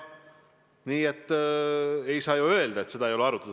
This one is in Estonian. Nii et ei saa öelda, et teemat ei ole arutatud.